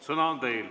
Sõna on teil.